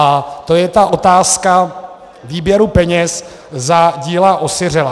A to je ta otázka výběru peněz za díla osiřelá.